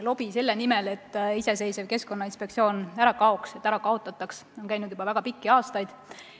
Lobi selle nimel, et iseseisev Keskkonnainspektsioon ära kaoks või ära kaotataks, on käinud juba väga pikki aastaid.